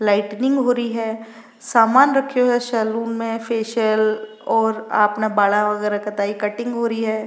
Lighting हो रही है सामान रखयो है सैलून में फेशियल और आपने बाला वगैरह का कटिंग हो री है।